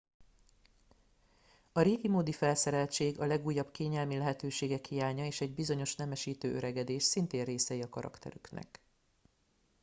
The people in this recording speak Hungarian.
a régimódi felszereltség a legújabb kényelmi lehetőségek hiánya és egy bizonyos nemesítő öregedés szintén részei a karakterüknek